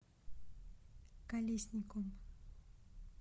колесником